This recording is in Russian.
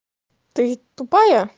ты тупая